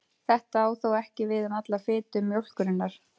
Þetta á þó ekki við um alla fitu mjólkurinnar.